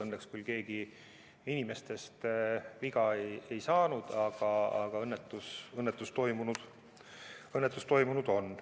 Õnneks küll inimesed viga ei saanud, aga õnnetus on toimunud.